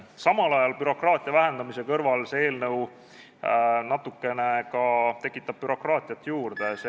Samal ajal, bürokraatia vähendamise kõrval tekitab see eelnõu natukene bürokraatiat juurde.